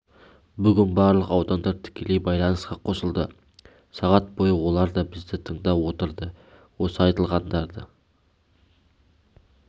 бүгін барлық аудандар тікелей байланысқа қосылды сағат бойы олар да бізді тыңдап отырды осы айтылғандардың